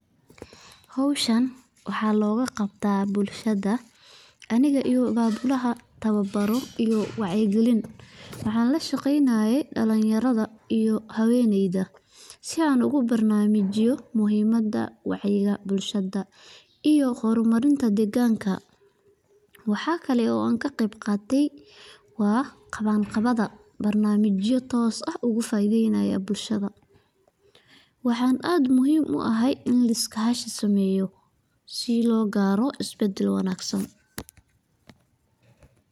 Hoshan waxa lo kaqabtoh bulshada Anika iyo babulaha towabaroh wacyikalin, waxalashaqeeyah dalinyarada iyo hawenyeda sibana ugu barnamajoh muhimada wacyika bulshada iyo hurmarita deganka , waxakali oo anakaqebqatay wabqawanqawada barnamajiyoh toos aah ah ugu faitheynaya bulshada waxan aad muhim u ahay in iskashidameeyoh si lokaroh isbadal wanagsan.